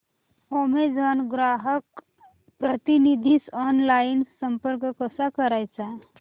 Amazon ग्राहक प्रतिनिधीस online संपर्क कसा करायचा